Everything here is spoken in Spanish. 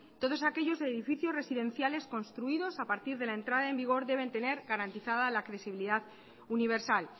todos aquellos edificios residenciales construidos a partir de la entrada en vigor deben tener garantizada la accesibilidad universal